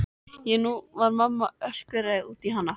Og nú var mamma öskureið út í hana.